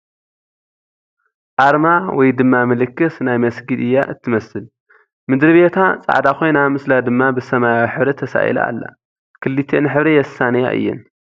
ኣርማ ወይ ድማ ምልክት ናይ መስጊድ እያ እትመስል ፡ ምድርቤታ ፃዕዳ ኾይና ምስላ ድማ ብሰማያዊ ሕብሪ ተሳኢላ ኣላ ፡ ክልቲኣን ሕብሪ የሳንያ እየን ።